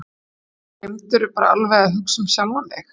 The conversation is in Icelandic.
Gleymdirðu bara alveg að hugsa um sjálfan þig?